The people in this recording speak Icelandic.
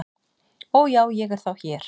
"""Ó, já, ég er þá hér"""